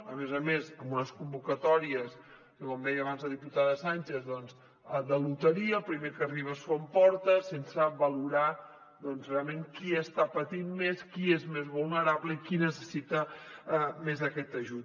a més a més amb unes convocatòries com deia abans la diputada sànchez de loteria el primer que arriba s’ho emporta sense valorar realment qui està patint més qui és més vulnerable i qui necessita més aquest ajut